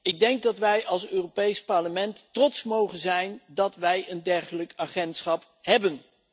Ik denk dat wij als Europees Parlement trots mogen zijn dat wij een dergelijk agentschap hebben.